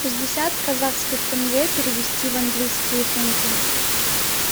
шестьдесят казахских тенге перевести в английские фунты